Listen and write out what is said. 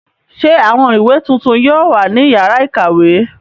Ṣé àwọn ìwé tuntun yóò wà ní ìyàrá-ìkàwé?